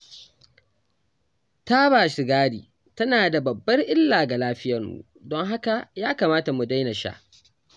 Taba sigari tana da babbar illa ga lafiyarmu, don haka ya kamata mu daina sha.